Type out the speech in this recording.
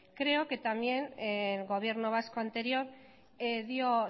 creo que también el gobierno vasco anterior dio